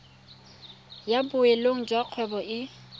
ya boleng jwa kgwebo e